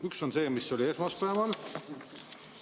Üks on see, mis oli esmaspäeval.